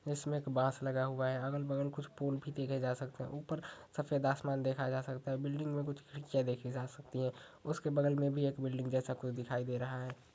इसमें एक बांस लगा हुआ है। अगल-बगल कुछ पूल भी देखे जा सकते हैं। ऊपर सफेद आसमान देखा जा सकता है। बिल्डिंग में कुछ खिड़कियां देखी जा सकती हैं। उसके बगल में भी एक बिल्डिंग जैसा कु दिखाई दे रहा है।